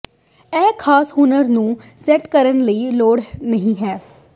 ਇਹ ਖਾਸ ਹੁਨਰ ਨੂੰ ਸੈੱਟ ਕਰਨ ਦੀ ਲੋੜ ਨਹ ਹੈ